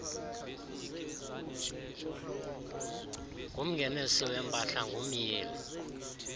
ngumngenisi wempahla ngumyili